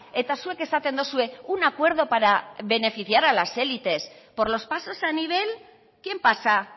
eta zuek esaten duzue un acuerdo para beneficiar a las élites por los pasos a nivel quién pasa